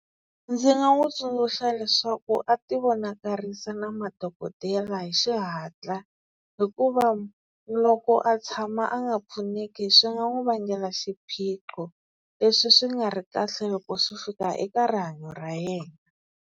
Ndzi nga n'wi tsundzuxa leswaku a ti vonakarisa na madokodela hi xihatla, hikuva loko a tshama a nga pfuneki swi nga n'wi vangela xiphiqo leswi swi nga ri kahle loko swi fika eka rihanyo ra yena.